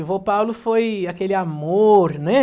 O vô Paulo foi aquele amor, né?